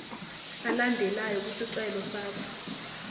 alandelayo kwisicelo sakho